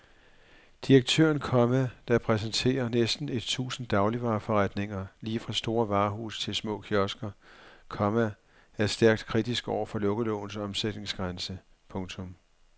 Direktøren, komma der repræsenterer næsten et tusind dagligvareforretninger lige fra store varehuse til små kiosker, komma er stærkt kritisk over for lukkelovens omsætningsgrænse. punktum